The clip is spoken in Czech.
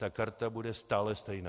Ta karta bude stále stejná.